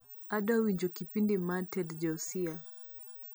adwa winjo kipindi mar ted joasiah